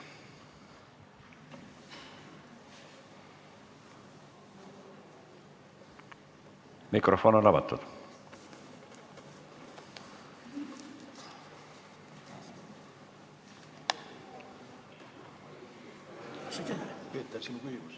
Mikrofon on avatud.